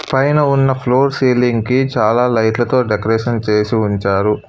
పైన ఉన్న floor ceiling కి చాలా లైట్లతో డెకరేషన్ చేసి ఉంచారు.